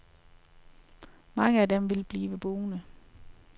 Mange af dem vil blive boende.